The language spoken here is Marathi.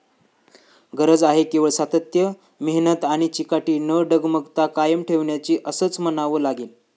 गरज आहे केवळ सातत्य, मेहनत आणि चिकाटी न डगमगता कायम ठेवण्याची असंच म्हणावं लागेल.